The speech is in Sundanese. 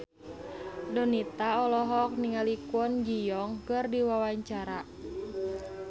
Donita olohok ningali Kwon Ji Yong keur diwawancara